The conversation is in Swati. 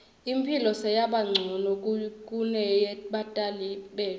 imphilo seyabancono kuneyebatali betfu